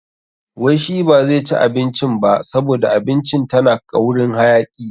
Wai shi ba zai ci abincin ba saboda abincin tana ƙaurin hayaki.